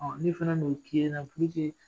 Ɔn ne fana dun kilen na